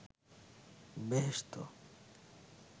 বেহেশত